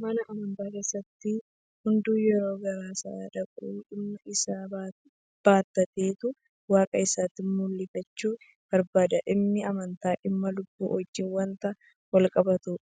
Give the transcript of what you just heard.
Mana amantaa keessatti hunduu yeroo gara sana dhaqu dhimma isaa baattateetu waaqa isaatti mul'ifachuu barbaada. Dhimmi amantaa dhimma lubbuu wajjin waanta walqabatuuf